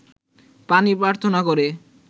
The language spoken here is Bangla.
পানি প্রার্থনা করে